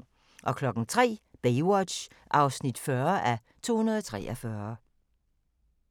03:00: Baywatch (40:243)